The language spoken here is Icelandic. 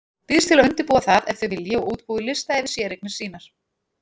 Býðst til að undirbúa það ef þau vilji og útbúi lista yfir séreignir sínar.